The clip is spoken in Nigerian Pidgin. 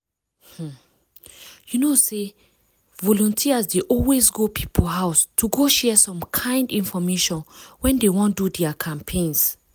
ah! you know say volunteers dey always go people house to go share some kind infomation when dey wan do dia campaigns.